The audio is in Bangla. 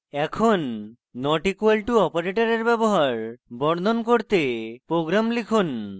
এখন not equal to operator ব্যবহার বর্ণন করতে program লিখুন